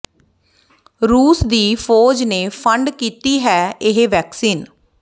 ਰੂਸ ਦੀ ਫੌਜ ਨੇ ਫੰਡ ਕੀਤੀ ਹੈ ਇਹ ਵੈਕਸੀਨ